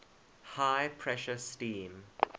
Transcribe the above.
high pressure steam